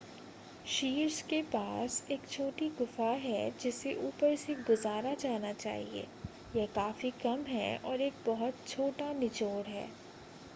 शीर्ष के पास एक छोटी गुफ़ा है जिसे ऊपर से गुज़ारा जाना चाहिए यह काफी कम है और एक बहुत छोटा निचोड़ है